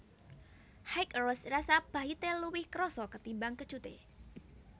High Roast rasa pahité luwih krasa ketimbang kecuté